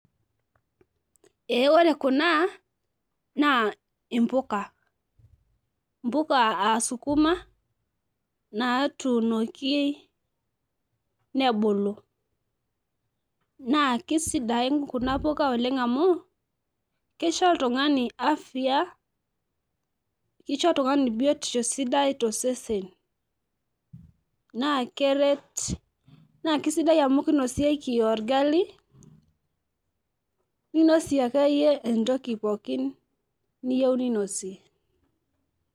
ee ore kuna naa mpuka, mpuka aa skuma natuunoki nebulu, naa kisiadin kuna oleng amu kisho oltungani, afya, kisho oltungani biotisho sidai tosesen. naa keret, naa kisidai amu kinosieki orgali, ninosie akeyie entoki akeyie niyieu ninosie.